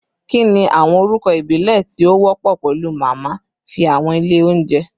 Kini awọn orukọ ibile ti o wọpọ pẹlu Mama fi awọn ile ounjẹ?